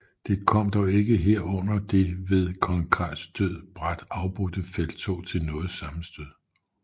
Det kom dog ikke her under det ved kong Carls død brat afbrudte felttog til noget sammenstød